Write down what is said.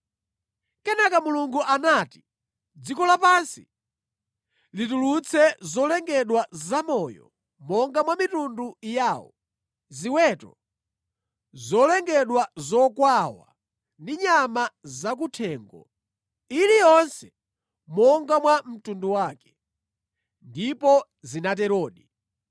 Kenaka Mulungu anati, “Dziko lapansi litulutse zolengedwa zamoyo monga mwa mitundu yawo: ziweto, zolengedwa zokwawa ndi nyama zakuthengo, iliyonse monga mwa mtundu wake.” Ndipo zinaterodi.